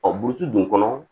Ɔ buruti dun kɔnɔ